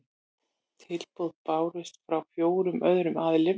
Tilboð bárust frá fjórum öðrum aðilum